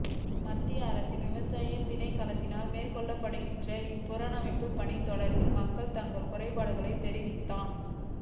மத்திய அரசின் விவசாய திணைக்களத்தினால் மேற்கொள்ளப்படுகின்ற இப்புனரமைப்பு பணி தொடர்பில் மக்கள் தங்கள் குறைபாடுகளைத் தெரிவித்ததன்